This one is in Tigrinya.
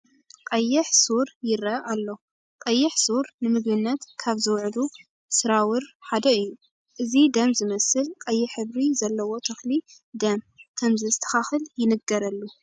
ቀይሕ ሱር ይርአ ኣሎ፡፡ ቀዳሕ ሱር ንምግብነት ካብ ዝውዕሩ ስራሙር ሓደ እዩ፡፡ እዚ ደም ዝመስል ቀይሕ ሕብሪ ዘለዎ ተኽሊ ደም ክምዘስተኻኽል ይንገረሉ፡፡